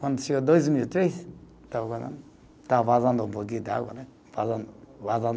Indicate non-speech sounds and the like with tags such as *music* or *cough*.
Quando chegou dois mil e três, estava, *unintelligible* estava vazando um pouquinho de água, né? Vazando, vazando.